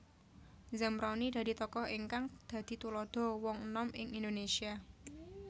Zamroni dadi tokoh ingkang dadi tuladha wong enom ing Indonesia